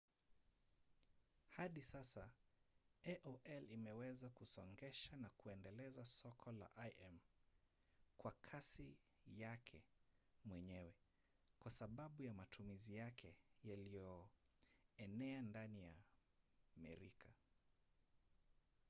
hadi sasa aol imeweza kusongesha na kuendeleza soko la im kwa kasi yake mwenyewe kwa sababu ya matumizi yake yaliyoenea ndani ya merika